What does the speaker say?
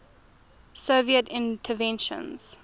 soviet inventions